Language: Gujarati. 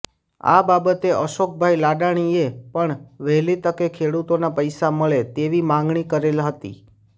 આ બાબતે અશોકભાઈ લાડાણીએ પણ વહેલી તકે ખેડુતોના પૈસા મળે તેવી માંગણી કરેલ હતી